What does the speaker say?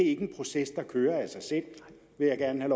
ikke en proces der kører af sig selv vil jeg gerne